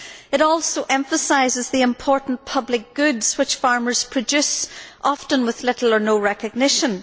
It also emphasises the important public goods which farmers produce, often with little or no recognition.